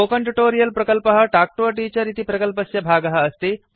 spoken tutorial प्रकल्पः talk to a teacher इति प्रकल्पस्य भागः अस्ति